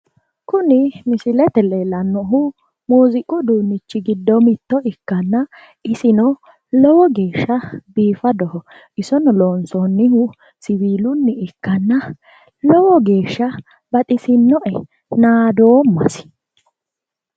Kuni misilete leellannohu muuziiqu uduunnichi giddo mitto ikkanna isino lowo geeshsha biifadoho. isono loonsoonnihu siwiilunni ikkanna lowo geeshsha baxisinnoe. nadoommasi.